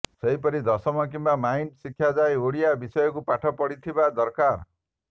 ସେହିପରି ଦଶମ କିମ୍ବା ମାଇନ ଶିକ୍ଷା ଯାଏଁ ଓଡ଼ିଆ ବିଷୟକୁ ପାଠ ପଢ଼ିଥିବା ଦରକାର